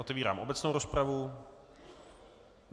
Otevírám obecnou rozpravu.